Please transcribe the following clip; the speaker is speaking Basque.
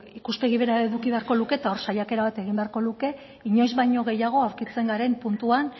ikuspegi bera eduki beharko luke eta hor saiakera bat egin beharko luke inoiz baino gehiago aurkitzen garen puntuan